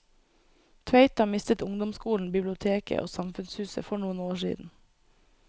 Tveita mistet ungdomsskolen, biblioteket og samfunnshuset for noen år siden.